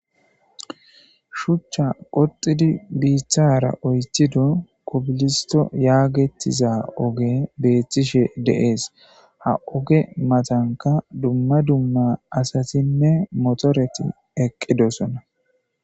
Shuchcha qoxidi biithara oythido kubilisto yaagettiza oge beethtishe deees, ha oge matanka dumma dumma asatinne motoreti eqqidosona.